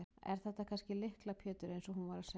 Er þetta kannski Lykla Pétur eins og hún var að segja?